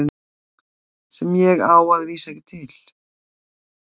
Sem ég á að vísu ekki til.